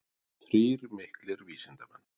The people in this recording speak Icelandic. Þrír miklir vísindamenn.